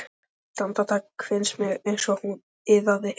Eitt andartak fannst mér eins og hún iðaði.